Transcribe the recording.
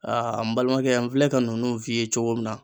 Aa n balimakɛ n filɛ ka nunnu f'i ye cogo min na